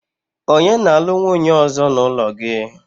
onye na-alu nwunye ozo n'ulo gi?